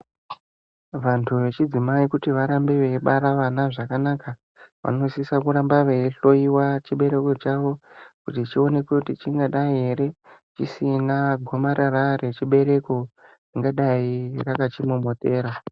Vantu vechidzimai kuti varambe veibara vana zvakanaka vanosise kuramba veihloiwa chibereko chavo kuti chionekwe kuti chingadai ere chisina gomarara rechibereko ringadai rakachimomotera.